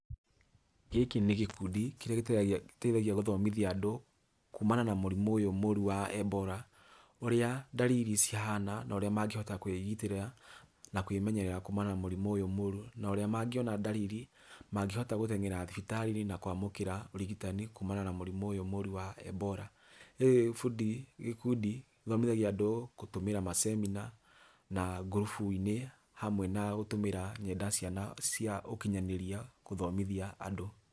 Gĩkĩ nĩ gĩkundi kĩrĩa gĩteithagia gũthomithia andũ kumana na murimu ũyũ mũru wa EBOLA, ũrĩa ndariri cihana na ũrĩa mangĩhota kwĩgitĩra na kwĩmenyerera kumana na mũrimu ũyũ mũru, na ũrĩa mangĩona ndariri mangĩhota gũteng'era thibitarĩ-inĩ na kwamũkĩra ũrigitani kumana na mũrimu ũyũ mũru wa EBOLA. Rĩu gĩkundi githomithagia andũ kũtũmĩra ma seminar na ngurubu-inĩ hamwe na gũtũmĩra nenda cia ũkinyanĩria gũthomithia andũ.